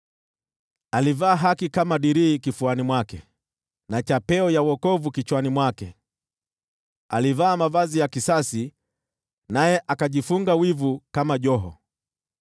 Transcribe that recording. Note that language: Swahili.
Alivaa haki kama dirii kifuani mwake, na chapeo ya wokovu kichwani mwake, alivaa mavazi ya kisasi naye akajifunga wivu kama joho.